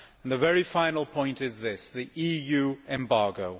My very final point is this the EU embargo.